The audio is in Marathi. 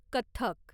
कथ्थक